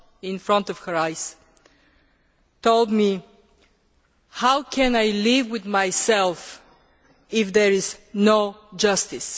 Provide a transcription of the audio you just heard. in front of her eyes told me How can I live with myself if there is no justice?'